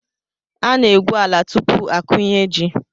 A na-egwu ala tupu akụnye ji.